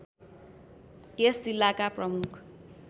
यस जिल्लाका प्रमुख